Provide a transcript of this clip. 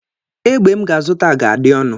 Egbe m ga-azụta ga-adị ọnụ.